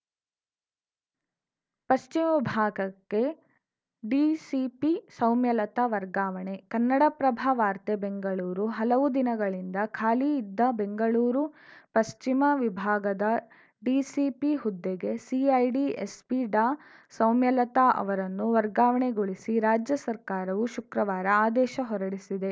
ಪಶ್ಚಿಮ ವಿಭಾಗಕ್ಕೆ ಡಿಸಿಪಿ ಸೌಮ್ಯಲತಾ ವರ್ಗಾವಣೆ ಕನ್ನಡಪ್ರಭ ವಾರ್ತೆ ಬೆಂಗಳೂರು ಹಲವು ದಿನಗಳಿಂದ ಖಾಲಿ ಇದ್ದ ಬೆಂಗಳೂರು ಪಶ್ಚಿಮ ವಿಭಾಗದ ಡಿಸಿಪಿ ಹುದ್ದೆಗೆ ಸಿಐಡಿ ಎಸ್ಪಿ ಡಾಸೌಮ್ಯಲತಾ ಅವರನ್ನು ವರ್ಗಾವಣೆಗೊಳಿಸಿ ರಾಜ್ಯ ಸರ್ಕಾರವು ಶುಕ್ರವಾರ ಆದೇಶ ಹೊರಡಿಸಿದೆ